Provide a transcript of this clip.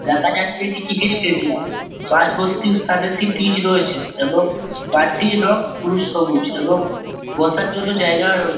দেখা যাচ্ছে একটি ক্রিকেট স্টেডিয়াম । মাঝ বর্তি স্থানে একটি পিচ রয়েছে এবং মাঠটির রং পুরো সবুজ এবং বসার জন্য জায়গা রয়ে --